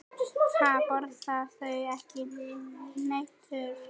Ha, borðar þú ekki hnetur?